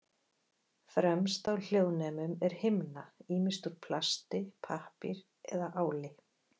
Fremst á hljóðnemum er himna, ýmist úr plasti, pappír eða áli.